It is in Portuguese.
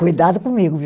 Cuidado comigo, viu?